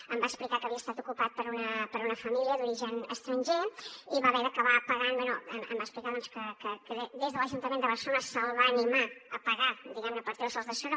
em va explicar que havia estat ocupat per una família d’origen estranger i va haver d’acabar pagant bé em va explicar doncs que des de l’ajuntament de barcelona se’l va animar a pagar diguem ne per treure se’ls de sobre